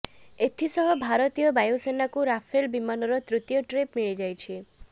ଏଥି ସହ ଭାରତୀୟ ବାୟୁସେନାକୁ ରାଫେଲ ବିମାନର ତୃତୀୟ ଟ୍ରିପ୍ ମିଳି ଯାଇଛି